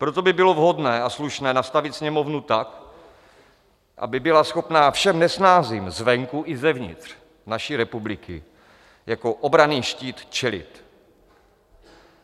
Proto by bylo vhodné a slušné nastavit Sněmovnu tak, aby byla schopna všem nesnázím zvenku i zevnitř naší republiky jako obranný štít čelit.